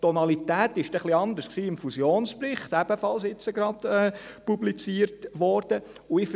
Die Tonalität war dann etwas anders im Fusionsbericht, der ebenfalls gerade publiziert worden ist.